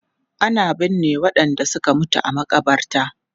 Ana binne wadanda suka mutu a makabarta.